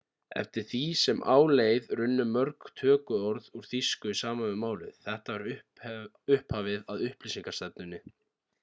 eftir því sem á leið runnu mörg tökuorð úr þýsku saman við málið þetta var upphafið að upplýsingarstefnunni